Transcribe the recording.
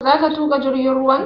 Za ka tuƙa jirgin ruwan?